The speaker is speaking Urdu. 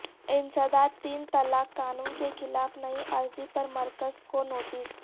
انسداد تین طلاق قانون کے خلاف نئی عرضی پر مرکز کو نوٹس